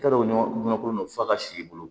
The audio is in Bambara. I t'a dɔn ɲɔ kolon fa ka s'i bolo